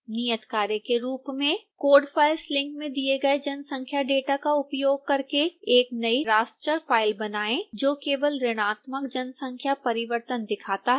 नियतकार्य के रूप में